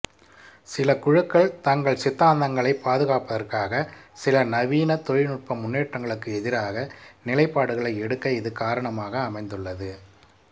சில குழுக்கள் தங்கள் சித்தாந்தங்களைப் பாதுகாப்பதற்காக சில நவீன தொழில்நுட்ப முன்னேற்றங்களுக்கு எதிராக நிலைப்பாடுகளை எடுக்க இது காரணமாக அமைந்துள்ளது